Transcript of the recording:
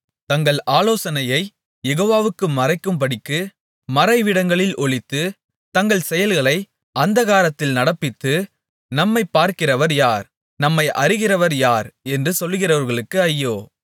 தங்கள் ஆலோசனையைக் யெகோவாவுக்கு மறைக்கும்படிக்கு மறைவிடங்களில் ஒளித்து தங்கள் செயல்களை அந்தகாரத்தில் நடப்பித்து நம்மைப் பார்க்கிறவர் யார் நம்மை அறிகிறவர் யார் என்று சொல்கிறவர்களுக்கு ஐயோ